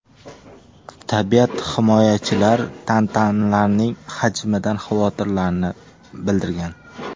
Tabiat himoyachilar tantanlarning hajmidan xavotirlarini bildirgan.